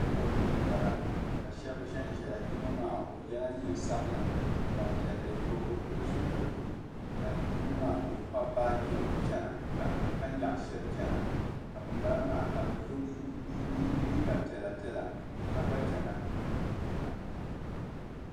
Ɛpɔti ni m-bala ka shɛba zanzaya yino maa o yɛla neen' sabila gbampiɛlli n-nyɛ o o bi pili zupiligu ka yino maa ka o kpabi baaji ka nyaɣi shɛli n-chana ka bambala maa ka bɛ liiga piɛlapiɛla ka gba chana.